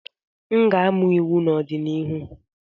M ga-amụ iwu n'ọdịnihu.